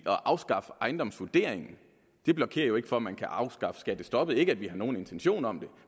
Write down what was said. at afskaffe ejendomsvurderingen blokerer jo ikke for at man kan afskaffe skattestoppet ikke at vi har nogen intentioner om det